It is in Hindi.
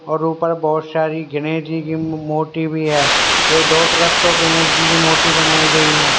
और ऊपर बहुत सारी गणेश जी की मूर्ती भी है ये दोनों तरफ तो गणेश जी की मूर्ती बनाई गई हैं।